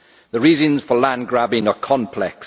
The reasons for land grabbing are complex.